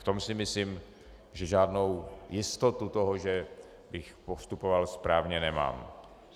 V tom si myslím, že žádnou jistotu toho, že bych postupoval správně, nemám.